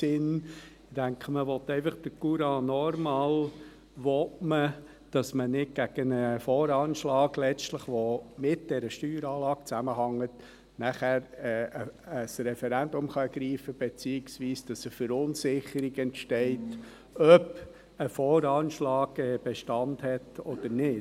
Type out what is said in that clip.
Ich denke, man will einfach den Courant normal, man will, dass man dann gegen einen VA, der mit dieser Steueranlage zusammenhängt, nicht letztlich ein Referendum ergreifen kann, beziehungsweise, dass eine Verunsicherung entsteht, ob ein VA Bestand hat oder nicht.